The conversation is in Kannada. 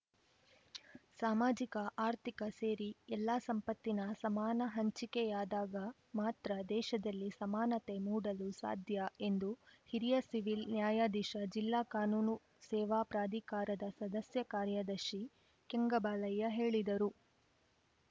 ಚ್ ಸಾಮಾಜಿಕ ಆರ್ಥಿಕ ಸೇರಿ ಎಲ್ಲಾ ಸಂಪತ್ತಿನ ಸಮಾನ ಹಂಚಿಕೆಯಾದಾಗ ಮಾತ್ರ ದೇಶದಲ್ಲಿ ಸಮಾನತೆ ಮೂಡಲು ಸಾಧ್ಯ ಎಂದು ಹಿರಿಯ ಸಿವಿಲ್‌ ನ್ಯಾಯಾಧೀಶ ಜಿಲ್ಲಾ ಕಾನೂನು ಸೇವಾ ಪ್ರಾಧಿಕಾರದ ಸದಸ್ಯ ಕಾರ್ಯದರ್ಶಿ ಕೆಂಗಬಾಲಯ್ಯ ಹೇಳಿದರು